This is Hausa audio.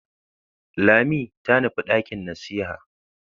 Lami ta nufi dakin nasiha.